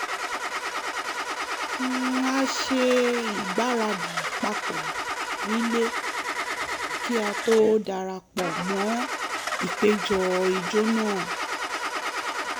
a ṣe ìgbáradì papọ̀ nílé kí a tó dara pọ̀ mọ́ ìpéjọ ijó náà